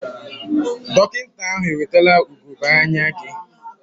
Dọkịta ahụ ewetela ugogbe anya gị?